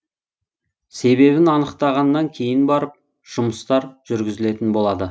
себебін анықтағаннан кейін барып жұмыстар жүргізілетін болады